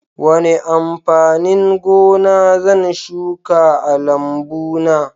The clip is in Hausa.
Wane amfanin gona zan shuka a lambuna?